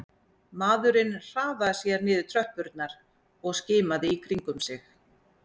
Maðurinn hraðaði sér niður tröppurnar og skimaði í kringum sig